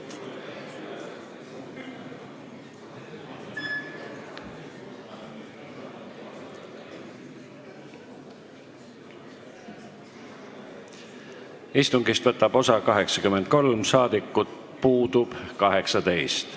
Kohaloleku kontroll Istungist võtab osa 83 ja puudub 18 rahvasaadikut.